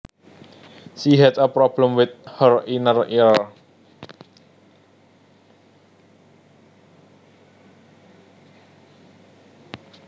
She had a problem with her inner ear